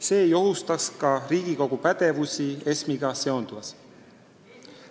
See ei ohustaks ka Riigikogu pädevusi ESM-iga seonduvas.